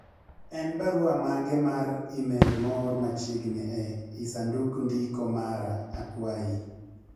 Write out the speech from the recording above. en barua mage mar email moor machiegni e lsandug ndiko mara akwayi